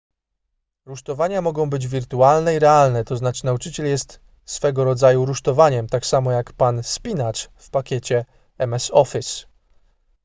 rusztowania mogą być wirtualne i realne tzn nauczyciel jest swego rodzaju rusztowaniem tak samo jak pan spinacz w pakiecie ms office